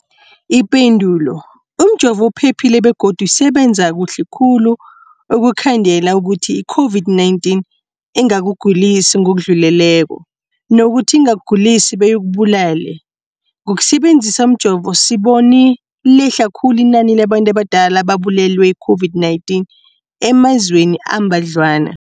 Ipendulo, umjovo uphephile begodu usebenza kuhle khulu ukukhandela ukuthi i-COVID-19 ingakugulisi ngokudluleleko, nokuthi ingakugulisi beyikubulale. Ngokusebe nzisa umjovo, sibone lehle khulu inani labantu abadala ababulewe yi-COVID-19 emazweni ambadlwana.